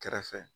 Kɛrɛfɛ